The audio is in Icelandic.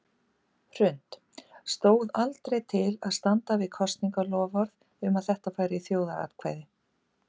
Hrund: Stóð aldrei til að standa við kosningaloforð um að þetta færi í þjóðaratkvæði?